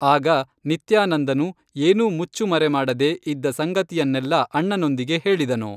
ಆಗ ನಿತ್ಯಾ ನಂದನು ಏನೂ ಮುಚ್ಚು ಮರೆಮಾಡದೆ ಇದ್ದ ಸಂಗತಿಯನ್ನೆಲ್ಲಾ ಅಣ್ಣನೊಂದಿಗೆ ಹೇಳಿದನು